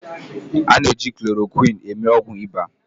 A na-eji klorokwịn eme ọgwụ ịba